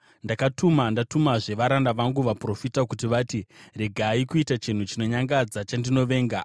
Ndakatuma ndatumazve varanda vangu vaprofita kuti vati, ‘Regai kuita chinhu chinonyangadza chandinovenga!’